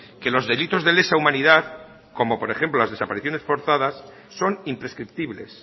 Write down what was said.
que los delitos de lesa humanidad como por ejemplo las desapariciones forzadas son imprescriptibles